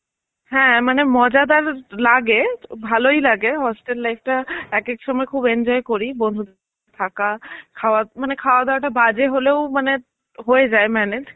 হ্যাঁ, মানে মজাদার লাগে ভালই লাগে hostel life টা এক এক সময় খুব enjoy করি. বন্ধু থাকা খাওয়া মানে খাওয়া দাওয়াটা বাজে হলেও মানে হয়ে যায় manage